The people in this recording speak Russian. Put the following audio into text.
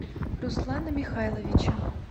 руслана михайловича